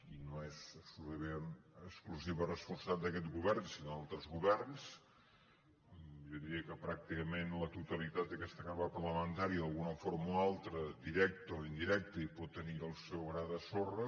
i no és exclusiva responsabilitat d’aquest govern sinó d’altres governs jo diria que pràcticament la totalitat d’aquesta cambra parlamentària d’alguna forma o altra directa o indirecta hi pot tenir el seu gra de sorra